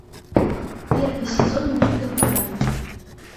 первый сезон мульта барри